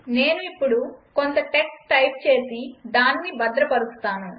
నేను ఇప్పుడు కొంత టెక్స్ట్ టైప్ చేసి దానిని భద్రపరుస్తాను